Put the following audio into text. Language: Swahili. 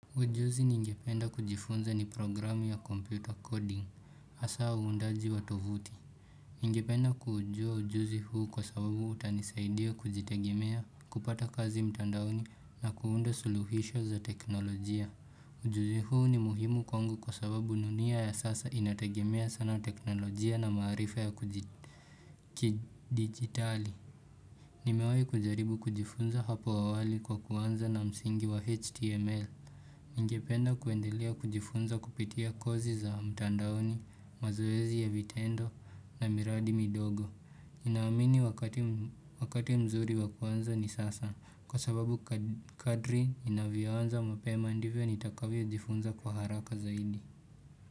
Ujuzi ni ngependa kujifunza ni programu ya computer coding, hasa uundaji wa tovuti. Ngependa kuujua ujuzi huu kwa sababu utanisaidia kujitegemea kupata kazi mtandaoni na kuunda suluhisho za teknolojia. Ujuzi huu ni muhimu kwangu kwa sababu dunia ya sasa inategemea sana teknolojia na marifa ya kujidigitali. Nimewai kujaribu kujifunza hapo awali kwa kuanza na msingi wa html. Ningependa kuendelea kujifunza kupitia kozi za mtandaoni, mazoezi ya vitendo na miradi midogo. Ninaamini wakati mzuri wa kuanza ni sasa kwa sababu kadri inavyoanza mapema ndivyo nitakavyojifunza kwa haraka zaidi.